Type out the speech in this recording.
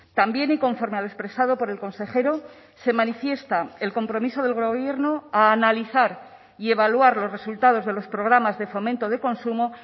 también y conforme a lo expresado por el consejero se manifiesta el compromiso del gobierno a analizar y evaluar los resultados de los programas de fomento de consumo